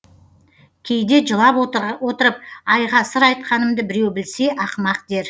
кейде жылап отырып айға сыр айтқанымды біреу білсе ақымақ дер